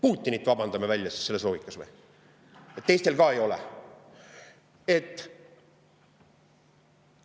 Putinit vabandame selles loogikas välja või, et teistel ka ei ole?